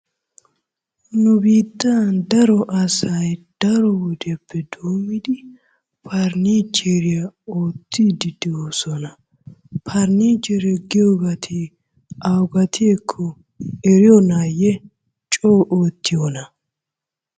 Nu biittan daro asay daro wodiyappe doomidi faranicheriyaa oottide de'oosona. Faranichiree giyoobari awugatekko eriyoonaye coo ootiyoona?